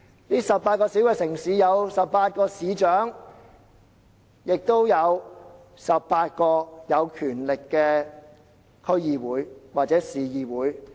這18個小城市設有18位市長，亦設有18個有權力的區議會或市議會。